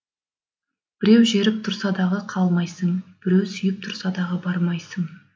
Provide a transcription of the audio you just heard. біреу жеріп тұрса дағы қалмайсың біреу сүйіп тұрса дағы бармайсың